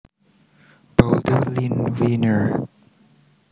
Boulder Lynne Rienner